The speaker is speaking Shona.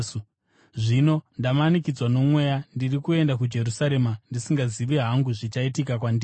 “Zvino ndamanikidzwa noMweya, ndiri kuenda kuJerusarema, ndisingazivi hangu zvichaitika kwandiri.